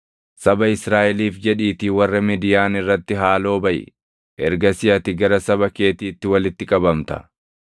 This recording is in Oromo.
“Saba Israaʼeliif jedhiitii warra Midiyaan irratti haaloo baʼi. Ergasii ati gara saba keetiitti walitti qabamta.”